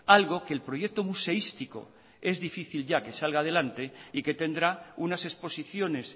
algo que el proyecto museístico es difícil ya que salga adelante y que tendrá unas exposiciones